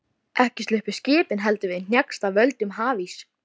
Ekki sluppu skipin heldur við hnjask af völdum hafíss.